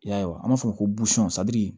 I y'a ye an b'a fɔ ko